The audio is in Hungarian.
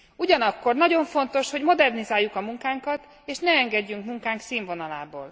Ugyanakkor nagyon fontos, hogy modernizáljuk a munkánkat, és ne engedjünk színvonalából.